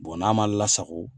n'a man lasago